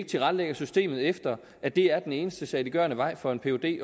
tilrettelægge systemet efter at det er den eneste saliggørende vej for en phd